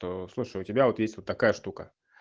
то слушай у тебя вот есть вот такая штука